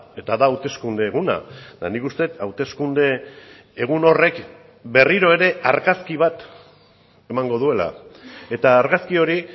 eta da hauteskunde eguna eta nik uste dut hauteskunde egun horrek berriro ere argazki bat emango duela eta argazki hori